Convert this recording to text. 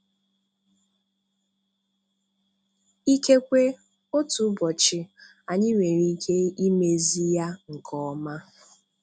Ikekwe otu ụbọchị anyị nwere ike imezi ya nke ọma.